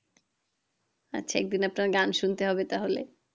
আচ্ছা একদিন আপনার গান শুনতে হবে তাহলে